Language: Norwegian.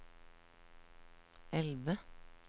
elve